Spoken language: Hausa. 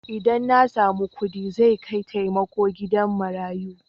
Idan na samu kuɗi zai kai taimako gida marayu.